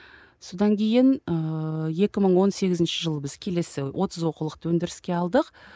содан кейін ыыы екі мың он сегізінші жылы біз келесі отыз оқулықты өндіріске алдық